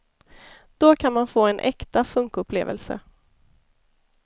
Då kan man få en äkta funkupplevelse.